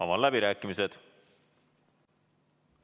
Avan läbirääkimised.